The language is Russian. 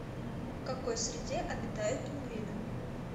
в какой среде обитают пингвины